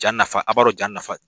Ja nafa a' b'a dɔn ja nafa